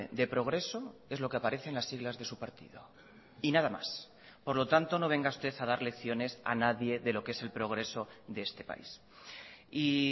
de progreso es lo que aparece en las siglas de su partido y nada más por lo tanto no venga usted ha dar lecciones a nadie de lo que es el progreso de este país y